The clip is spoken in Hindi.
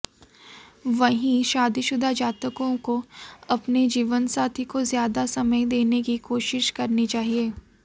वहीं शादीशुदा जातकों को अपने जीवनसाथी को ज्यादा समय देने की कोशिश करनी चाहिए